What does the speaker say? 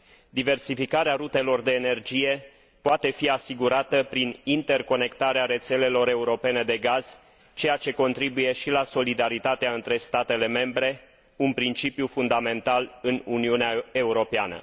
Diversificarea rutelor de energie poate fi asigurată prin interconectarea rețelelor europene de gaz, ceea ce contribuie și la solidaritatea între statele membre, un principiu fundamental în Uniunea Europeană.